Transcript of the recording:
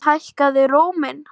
Hann hækkaði róminn.